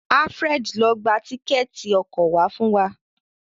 Alfred ló gbà Tíkẹ́ẹ̀tì ọkọ̀ wá fún wá.